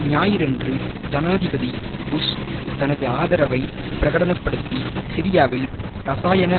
ஞாயிறன்று ஜனாதிபதி புஷ் தனது ஆதரவை பிரகடன படுத்தி சிரியாவில் இரசாயன